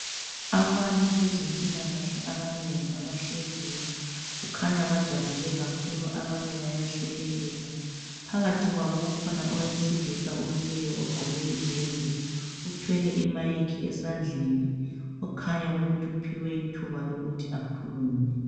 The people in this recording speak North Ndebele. Abantu bezempilakahle ababengi abahleziyo. Kukhanya bajabule kakhulu abanye bayahlekelela. Phakathi kwabo kukhona owesilisa omileyo ogqoke iyembe. Uthwele imic esandleni okukhanya ukuthi uphiwe ithuba lokuthi akhulume.